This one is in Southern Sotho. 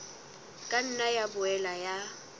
ka nna ya boela ya